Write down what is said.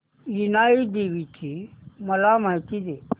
इनाई देवीची मला माहिती दे